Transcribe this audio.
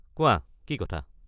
কোৱা কি কথা?